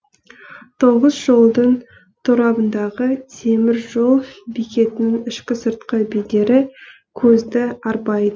тоғыз жолдың торабындағы темір жол бекетінің ішкі сыртқы бедері көзді арбайды